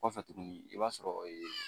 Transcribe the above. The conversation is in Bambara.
Kɔfɛ tuguni i b'a sɔrɔ ee